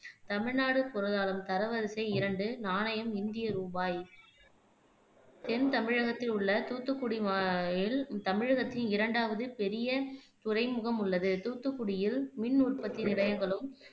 தமிழ்நாட்டுப் பொருளாதாரம் தரவரிசைஇரண்டு நாணயம்இந்திய ரூபாய் தென்தமிழகத்தில் உள்ள தூத்துக்குடி தமிழகத்தின் இரண்டாவது பெரிய துறைமுகம் உள்ளது. தூத்துக்குடியில் மின்னுற்பத்தி நிலையங்களும்,